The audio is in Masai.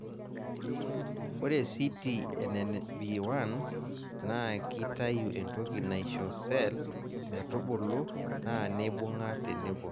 ore CTNNB1 naa kitayu entoki naisho cells metubulu naa neibung'a tenebo.